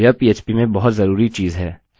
यह काफी सरल तरीका है